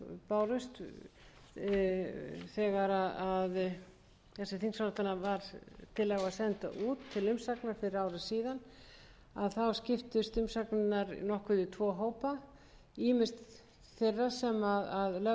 bárust þegar þessi þingsályktunartillaga var send út til umsagna fyrir ári síðan að þá skiptust umsagnirnar nokkuð í tvo hópa ýmist þeirra sem lögðu áherslu á þessa heildarsýn að